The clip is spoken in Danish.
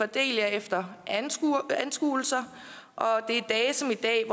del jer efter anskuelser